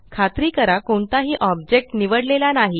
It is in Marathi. खात्री करा कोणताही ऑब्जेक्ट निवडलेला नाही